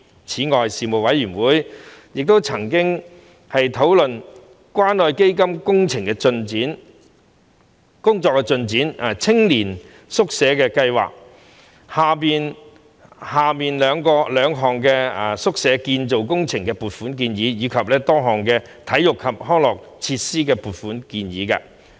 此外，事務委員會曾討論關愛基金的工作進展、青年宿舍計劃下兩項宿舍建造工程的撥款建議，以及多項體育及康樂設施的撥款建議。